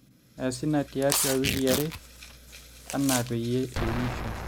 eesi ina tiatu wikii are enaa peyie iunisho